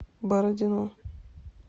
бородино